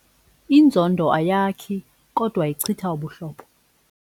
Inzondo ayakhi kodwa ichitha ubuhlobo.